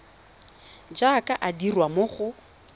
jaaka e dirwa mo go